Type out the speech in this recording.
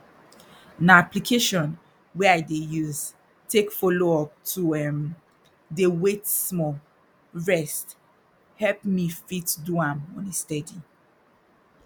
na application wey i dey use take follow up to um dey wait small rest help me dey fit do am on a steady